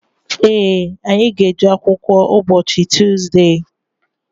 Ee, anyị ga-eje akwụkwọ ụbọchị Tuzde.